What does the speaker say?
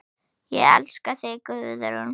Ég elska þig, Guðrún.